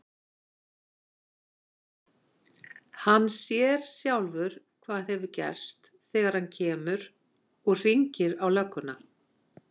Hann sér sjálfur hvað hefur gerst þegar hann kemur. og hringir á lögguna.